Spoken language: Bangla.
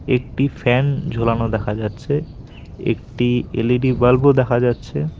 একটি ফ্যান ঝোলানো দেখা যাচ্ছে একটি এল_ই_ডি বাল্ব -ও দেখা যাচ্ছে।